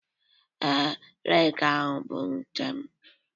Ee, rake bụ nke m.